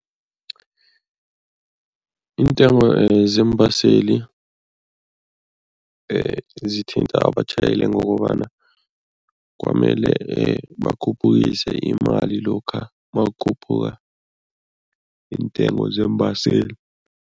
Iintengo zeembaseli zithinta abatjhayeli ngokobana kwamele bakhuphukise imali lokha makukhuphuka iintengo zeembaseli.